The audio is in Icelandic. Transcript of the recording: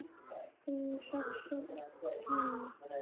Þín dóttir, Hanna.